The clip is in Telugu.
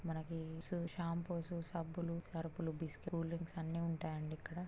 మనకి షాంపూ సబ్బులు సరప్ లు కూలదరింక్స్ అన్నీ ఉంటాయి అండి ఇక్కడ